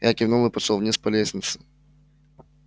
я кивнул и пошёл вниз по лестнице